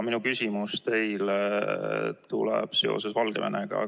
Minu küsimus teile puudutab Valgevenet.